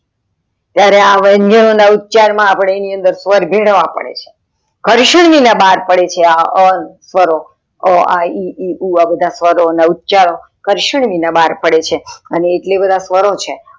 જયારે અ વ્યંજનો ના ઉપચાર માં અપડે એની અંદર સ્વર ભેળવવા પડે છે ઘર્ષણ વિના બાર પડે છે આ અ સ્વરો અ આ ઈ ઉ આ બધા સ્વરો અન ઉચારો ઘર્ષણ વિનાના બાર પડે છે એટલે અ બધા સ્વરો છે.